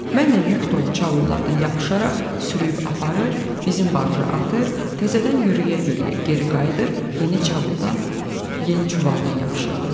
Mən də yük dolu çavullardan yapışaraq sürüyyüb aparır, bizim barja atır, təzədən yüyürə-yüyürə geri qayıdır, yeni çavuldan, yeni çuvaldan yapışırdım.